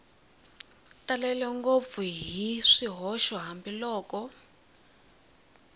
talele ngopfu hi swihoxo hambiloko